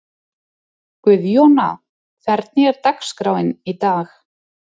Guðjóna, hvernig er dagskráin í dag?